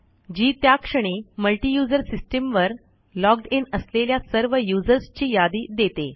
जी त्या क्षणी multi user system वर logged इन असलेल्या सर्व यूझर्स ची यादी देते